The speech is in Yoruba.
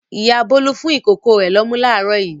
Ìyá Bólú fún ìkókó rẹ̀ lọ́mú láàárọ̀ yìí.